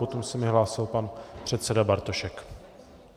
Potom se mi hlásil pan předseda Bartošek.